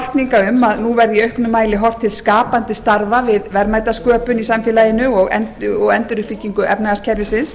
hvatninga um að nú verði í auknum mæli horft til skapandi starfa við verðmætasköpun í samfélaginu og enduruppbyggingu efnahagskerfisins